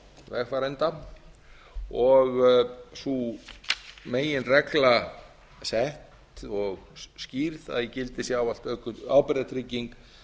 vegfarenda og sú meginregla sett og skýrð að í gildi sé ávallt ábyrgðartrygging